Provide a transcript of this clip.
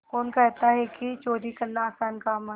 कौन कहता है कि चोरी करना आसान काम है